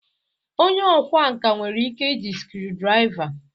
Onye ọkwá nkà nwere ike iji screw driva